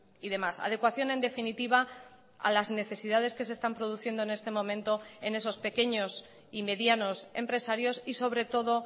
y demás adecuación en definitiva a las necesidades que se están produciendo en este momento en esos pequeños y medianos empresarios y sobre todo